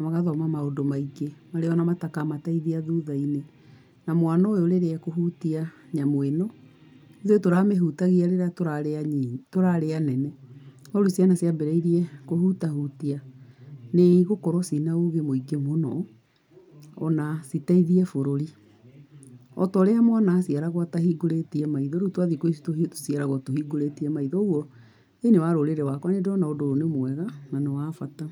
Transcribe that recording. magathoma maũndũ maingĩ marĩa o na matakamateithia thutha-inĩ. Na mwana ũyũ rĩrĩa ekũhutia nyamũ ĩno, ithuĩ tũramĩhutagia rĩrĩa tũrarĩ anini, tũrarĩ anene. No rĩu ciana ciambĩrĩirie kũhutahutia nĩ igũkorwo ciĩna ũgĩ mũingĩ mũno o na citeithie bũrũri. O ta ũrĩa mwana a ciaragwo atahingũrĩtie maitho, rĩu twa thikũ ici, tũciaragwo tũhingũrĩtie maitho. Ũguo, thĩiniĩ wa rũrĩrĩ rwakwa nĩ ndĩrona ũndũ ũyũ nĩ mwega na nĩ wa bata.